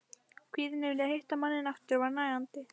Kvíðinn yfir því að hitta manninn aftur var nagandi.